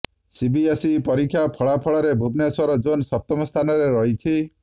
CBSE ପରୀକ୍ଷ ଫଳାଫଲରେ Bhubaneswar zone ସପ୍ତମ ସ୍ଥାନରେ ରହିଛି